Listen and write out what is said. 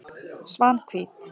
Svanhvít